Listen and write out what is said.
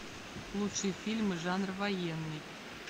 лучшие фильмы жанр военный